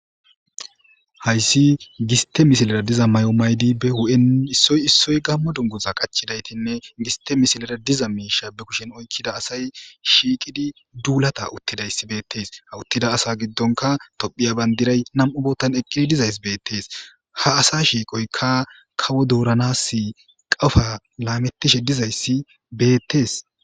Hayssi giste misilara diza mayo maydi be hu'en issoy issoy gammo dunguza qachidaytinne giste misilara diza miisha be kushin oykkida asay shiiqidi duulata uttidayssi beettes. Ha uttida asa giddonka Tophiya bandiray nam'u boottan eqqidi dizays beettees. Ha asa shiiqoyka kawo dooranas qofa laamettishe dizayssi beettees.